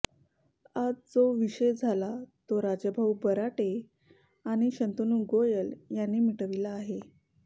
आज जो विषय झाला तो राजाभाऊ बराटे आणि शंतनू गोयल यांनी मिटविला आहे